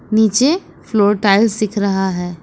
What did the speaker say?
नीचे floor tiles दिख रहा है।